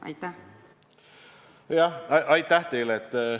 Aitäh teile!